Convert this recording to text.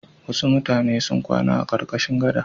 Wasu mutane sun kwana a ƙarƙashin gada.